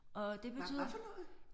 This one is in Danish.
Hvad hvad for noget?